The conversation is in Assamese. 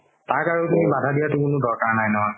তাক আৰু তুমি বাধা দিয়াতো কোনো দৰকাৰ নাই নহয়